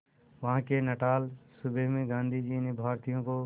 वहां के नटाल सूबे में गांधी ने भारतीयों को